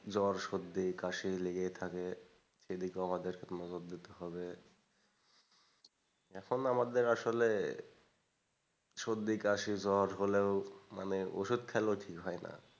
জ্বর, সর্দি, কাশি লেগেই থাকে সেদিকেও আমাদের নজর দিতে হবে এখন আমাদের আসলে সর্দি, কাশি, জ্বর হলেও মানে ওষুধ খেলেও ঠিক হয়না।